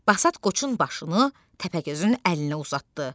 Basat qoçun başını Təpəgözün əlinə uzatdı.